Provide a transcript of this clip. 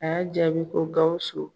A y'a jaabi ko Gawusu.